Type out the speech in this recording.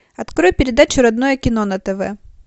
открой передачу родное кино на тв